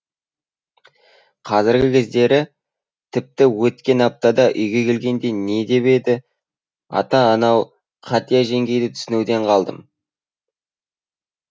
қазіргі кездері тіпті өткен аптада үйге келгенде не деп еді ата анау қатия жеңгейді түсінуден қалдым